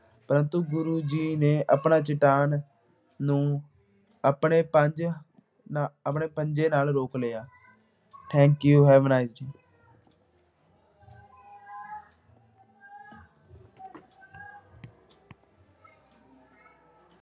ਪਰੰਤੂ ਗੁਰੂ ਜੀ ਆਪਣਾ ਚੱਟਾਨ ਨੂੰ ਆਪਣੇ ਪੰਜ ਨਾ ਆਪਣੇ ਪੰਜੇ ਨਾਲ ਰੋਕ ਲਿਆ। thank you, have a nice day